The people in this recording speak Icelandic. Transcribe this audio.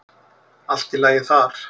Allt í lagi þar.